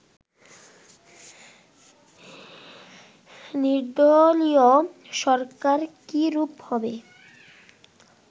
নির্দলীয় সরকার কী রূপ হবে